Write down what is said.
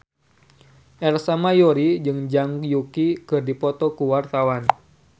Ersa Mayori jeung Zhang Yuqi keur dipoto ku wartawan